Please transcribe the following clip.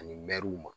Ani mɛriw